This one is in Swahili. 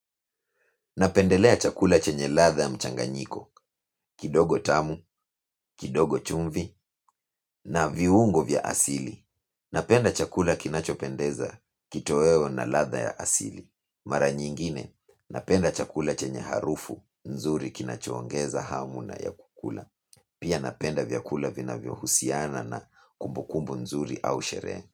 Napendelea chakula chenye latha ya mchanganyiko, kidogo tamu, kidogo chumvi, na viungo vya asili. Napenda chakula kinachopendeza kitoewo na latha ya asili. Mara nyingine, napenda chakula chenye harufu, nzuri kinachoongeza hamu na ya kukula. Pia napenda vyakula vinavyo husiana na kumbukumbu nzuri au sherehe.